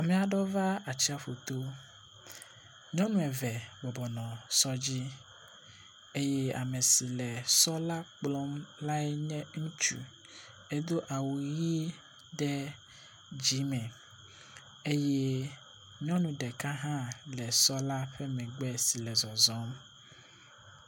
Meaɖo va atsaƒuto, nyɔŋu eve bɔbɔnɔ sɔ dzi eyɛ amesi le sɔ la kplɔm lae nye ŋutsu, édo awu ɣi ɖe dzímè eyɛ nyɔnu ɖeka hã le sɔ la ƒe megbe si le zɔzɔm